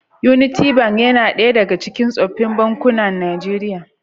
Unity Bank yana ɗaya daga cikin sofofin bankuna Nijeriya.